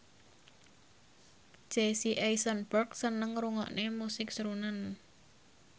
Jesse Eisenberg seneng ngrungokne musik srunen